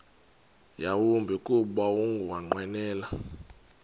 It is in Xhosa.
yawumbi kuba ukunqwenela